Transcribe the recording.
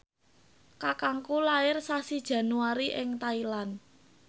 kakangku lair sasi Januari ing Thailand